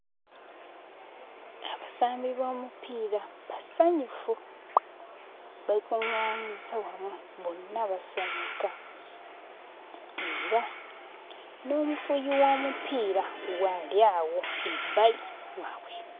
Abasambi b'omupiira basanyufu. Beekuŋŋaanyizza wamu bonna basanyuka era n'omufuuyi w'omupiira waali awo ebbali waabwe.